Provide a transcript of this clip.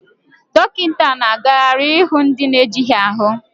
Dọkịta na-agagharị ịhụ ndị na-ejighị ahu